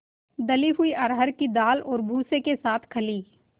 दली हुई अरहर की दाल और भूसे के साथ खली